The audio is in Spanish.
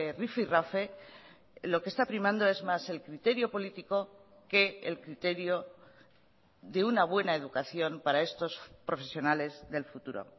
rifirrafe lo que está primando es más el criterio político que el criterio de una buena educación para estos profesionales del futuro